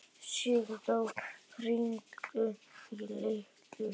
Sigdór, hringdu í Liljurósu.